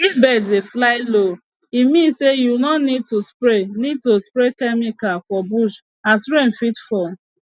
if bird dey fly low e mean say you no need to spray need to spray chemical for bush as rain fit fall